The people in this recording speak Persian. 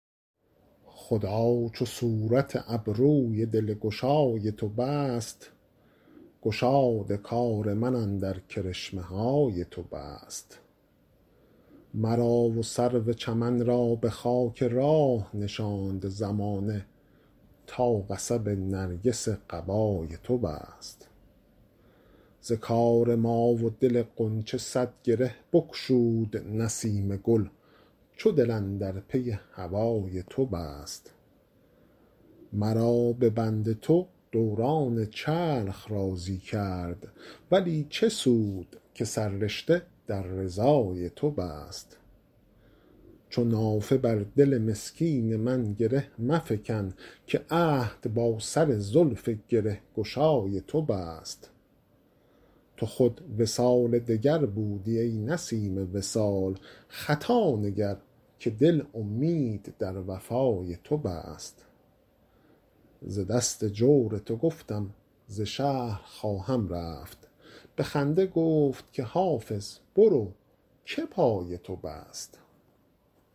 خدا چو صورت ابروی دلگشای تو بست گشاد کار من اندر کرشمه های تو بست مرا و سرو چمن را به خاک راه نشاند زمانه تا قصب نرگس قبای تو بست ز کار ما و دل غنچه صد گره بگشود نسیم گل چو دل اندر پی هوای تو بست مرا به بند تو دوران چرخ راضی کرد ولی چه سود که سررشته در رضای تو بست چو نافه بر دل مسکین من گره مفکن که عهد با سر زلف گره گشای تو بست تو خود وصال دگر بودی ای نسیم وصال خطا نگر که دل امید در وفای تو بست ز دست جور تو گفتم ز شهر خواهم رفت به خنده گفت که حافظ برو که پای تو بست